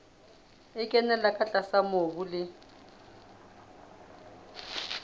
e kenella tlase mobung le